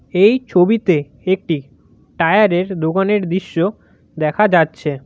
এই ছবিতে একটি টায়ারের দোকানের দৃশ্য দেখা যাচ্ছে।